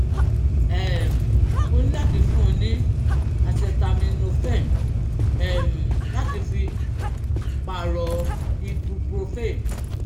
um o ní láti fún un ní acetaminophen um láti fi pààrọ̀ ibuprofen